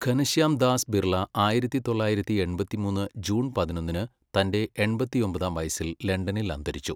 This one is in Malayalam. ഘനശ്യാം ദാസ് ബിർള ആയിരത്തി തൊള്ളായിരത്തി എൺപത്തിമൂന്ന് ജൂൺ പതിനൊന്നിന് തന്റെ എൺപത്തി ഒമ്പതാം വയസ്സിൽ ലണ്ടനിൽ അന്തരിച്ചു.